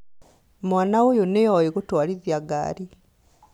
Mwana ũyũ nĩoi gũtwarithia ngari